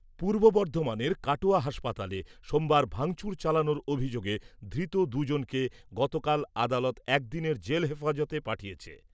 পূর্ব বর্ধমানের কাটোয়া হাসপাতালে, সোমবার ভাঙচুর চালানোর অভিযোগে ধৃত দুই জনকে গতকাল আদালত এক দিনের জেল হেফাজতে পাঠিয়েছে।